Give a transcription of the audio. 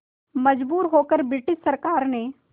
मजबूर होकर ब्रिटिश सरकार ने